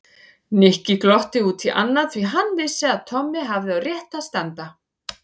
Nikki glotti út í annað því hann vissi að Tommi hafði á réttu að standa.